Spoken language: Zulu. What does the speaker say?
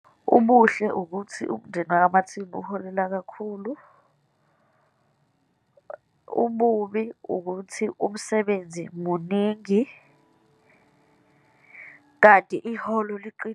Ubuhle ukuthi umndeni wakwaMartin uholela kakhulu. Ububi ukuthi umsebenzi muningi, kanti iholo .